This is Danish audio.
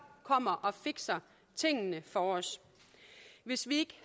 kommer og fikser tingene for os hvis vi